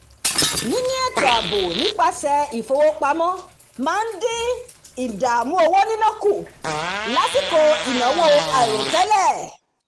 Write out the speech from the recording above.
níní ètò ààbò nípasẹ̀ ìfowópamọ́ máa ń dín ìdààmú owó níná kù lásìkò ìnáwó àìròtẹ́lẹ̀